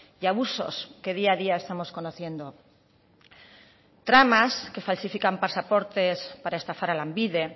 y abusos que día a día estamos conociendo tramas que falsifican pasaportes para estafar a lanbide